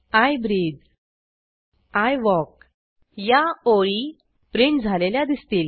I breathe I walk या ओळी print झालेल्या दिसतील